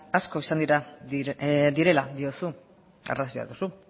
asko izan direla diozu arrazoia duzu